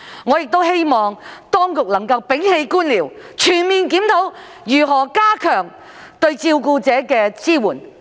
我亦希望當局能摒棄官僚主義，全面檢討如何加強對照顧者的支援。